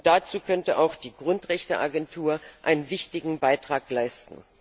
Dazu könnte auch die Grundrechteagentur einen wichtigen Beitrag leisten.